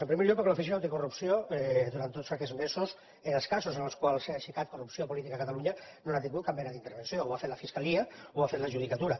en primer lloc perquè l’oficina anticorrupció durant tots aquests mesos en els casos que han aixecat corrupció política a catalunya no hi ha tingut cap mena d’intervenció ho ha fet la fiscalia o ho ha fet la judicatura